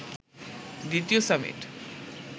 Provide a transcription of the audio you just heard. দ্বিতীয় সামিট